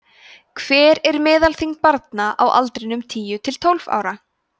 hver er meðalþyngd barna á aldrinum tíu til tólf ára